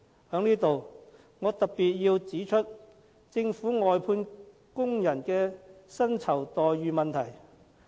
在此，我要特別指出政府外判工人的薪酬待遇問題。